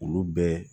Olu bɛɛ